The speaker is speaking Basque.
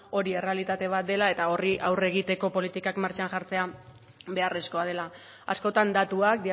hori errealitate bat dela eta horri aurre egiteko politikak martxan jartzea beharrezkoa dela askotan datuak